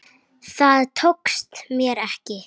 Það tókst mér ekki.